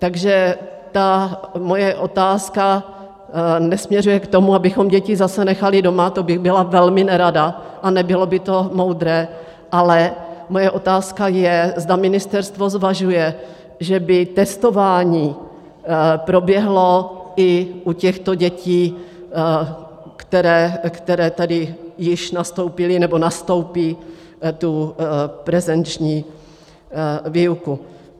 Takže ta moje otázka nesměřuje k tomu, abychom děti zase nechali doma, to bych byla velmi nerada a nebylo by to moudré, ale moje otázka je, zda ministerstvo zvažuje, že by testování proběhlo i u těchto dětí, které tady již nastoupily nebo nastoupí tu prezenční výuku.